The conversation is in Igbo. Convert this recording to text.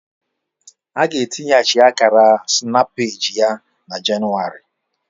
A ga etinyeachi Akara snapypage ya na Jenụwarị